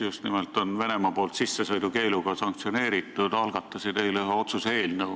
Just nimelt neile kolmele Riigikogu liikmele on Venemaa kehtestanud ka sanktsiooni, sissesõidukeelu.